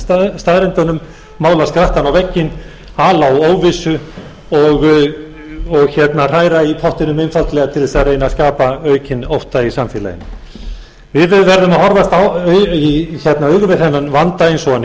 afneita staðreyndunum mála skrattann á vegginn ala á óvissu og hræra í pottinum einfaldlega til að reyna að skapa aukinn ótta í samfélaginu við verðum að horfast í augu við þennan vanda eins og hann